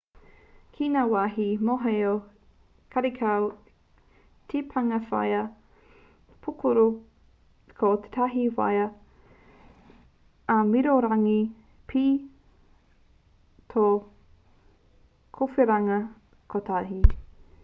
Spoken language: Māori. ki ngā wāhi mohoao karekau te pānga waea pūkoro ko tētahi waea āmiorangi pea tō kōwhiringa kotahi